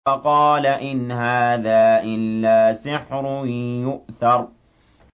فَقَالَ إِنْ هَٰذَا إِلَّا سِحْرٌ يُؤْثَرُ